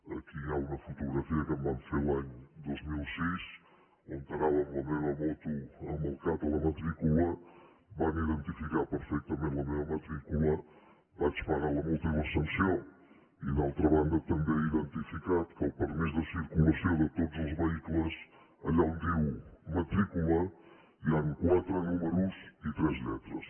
aquí hi ha una fotografia que em van fer l’any dos mil sis on anava amb la meva moto amb el cat a la matrícula van identificar perfectament la meva matrícula vaig pagar la multa i la sanció i d’altra banda també he identificat que el permís de circulació de tots els vehicles allà on dia matrícula hi han quatre números i tres lletres